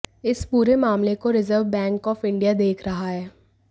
इस पूरे मामले को रिज़र्व बैंक ऑफ इंडिया देख रहा है